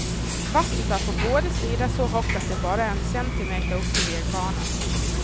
Vattnet är på båda sidor så högt att det bara är centimeter upp till vägbanan.